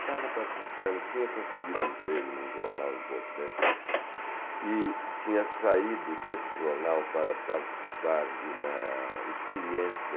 Estava participando, tinha conseguido um emprego em um jornal importante e tinha saído deste jornal para participar de uma experiência